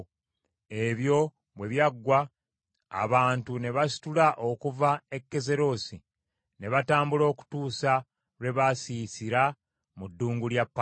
Ebyo bwe byaggwa abantu ne basitula okuva e Kazerosi ne batambula okutuusa lwe baasiisira mu ddungu lya Palani.